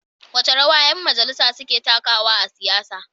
Wace rawa ƴan majalisa suka takawa a siyasa?